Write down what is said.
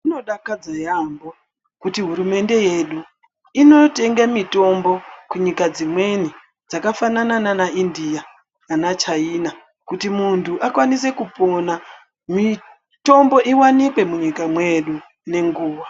Zvinodakadze yambo kuti hurumende yedu inotenge mitombo kunyika dzimweni dzakafanana nana India, ana China, kuti muntu akwanise kupona mitombo iwanikwe munyika medu ngenguwa.